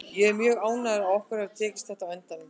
Ég er mjög ánægður að okkur hafi tekist þetta á endanum.